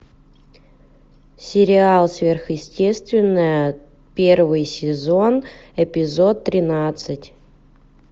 сериал сверхъестественное первый сезон эпизод тринадцать